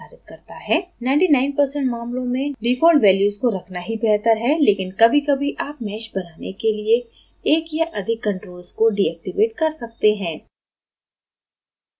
99% मामलों में default values को रखना ही बेहतर है लेकिन कभीकभी आप mesh बनाने के लिए एक या अधिक controls को deactivate कर सकते हैं